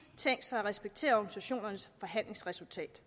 tænkt sig at respektere organisationernes forhandlingsresultat